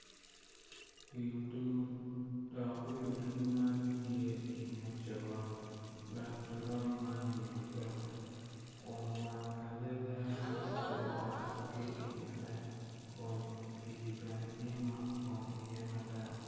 Wi odur dok wi odur man tye i nget coron dok coron man wiye peke kun wang kalele bene okato ki i ngete